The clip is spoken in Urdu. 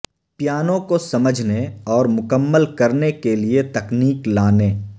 پیانو کو سمجھنے اور مکمل کرنے کے لئے تکنیک لانے